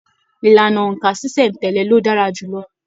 Ìlànà óńka ṣiṣẹ n tẹle ló dára jùlọ.